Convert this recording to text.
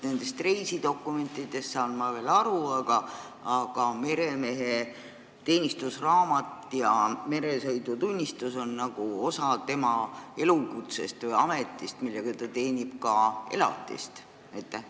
Reisidokumentidest saan ma veel aru, aga meremehe teenistusraamat ja meresõidutunnistus on ju osa tema elukutsest või ametist, millega ta ka elatist teenib.